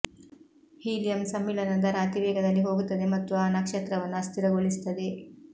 helium ಸಮ್ಮಿಳನ ದರ ಅತಿ ವೇಗದಲ್ಲಿ ಹೋಗುತ್ತದೆ ಮತ್ತು ಆ ನಕ್ಷತ್ರವನ್ನು ಅಸ್ಥಿರಗೊಳಿಸುತ್ತದೆ